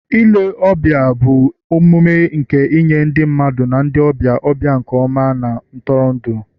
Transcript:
ile ọbịa bụ omume nke inye ndị mmadụ na ndị ọbịa ọbịa nke ọma na ntụrụndụ